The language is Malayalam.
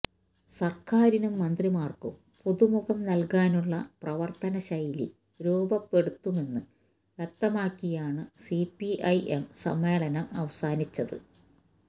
സര്ക്കാരിനും മന്ത്രിമാര്ക്കും പുതുമുഖം നല്കാനുള്ള പ്രവര്ത്തനശൈലി രൂപപ്പെടുത്തുമെന്ന് വ്യക്തമാക്കിയാണ് സിപിഐഎം സമ്മേളനം അവസാനിച്ചത്